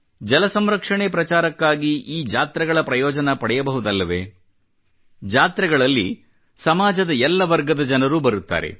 ಜಲ ಸಂರಕ್ಷಣೆ ಪ್ರಚಾರಕ್ಕಾಗಿ ಈ ಜಾತ್ರೆಗಳ ಪ್ರಯೋಜನ ಪಡೆಯಬಹುದಲ್ಲವೇ ಜಾತ್ರೆಗಳಲ್ಲಿ ಸಮಾಜದ ಎಲ್ಲ ವರ್ಗದ ಜನರೂ ಬರುತ್ತಾರೆ